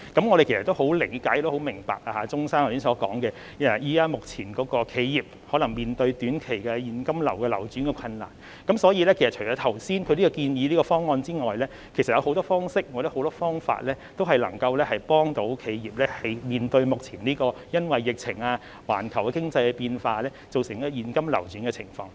我們十分理解和明白鍾議員剛才所說的情況，目前企業可能面對短期現金流轉困難，所以除了他剛才建議的方案之外，其實還有很多方式或方法，同樣能夠幫助企業面對目前因為疫情、環球經濟變化造成現金流轉困難的情況。